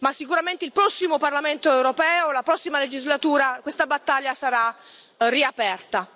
Sicuramente nel prossimo Parlamento europeo e nella prossima legislatura questa battaglia sarà riaperta.